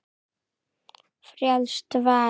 Frjálst val!